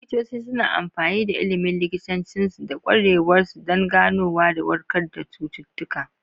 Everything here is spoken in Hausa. Likitoci suna amfani da ilimin likitancinsu da ƙwarewarsu don ganowa da warkar da cututtuka.